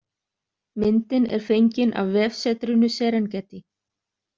Myndin er fengin af vefsetrinu Serengeti.